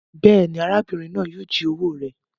Béèni, arábìrin náà yio ji owó rẹ